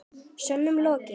Sönnun lokið.